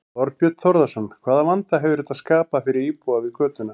Þorbjörn Þórðarson: Hvaða vanda hefur þetta skapað fyrir íbúa við götuna?